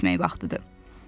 evə getmək vaxtıdır.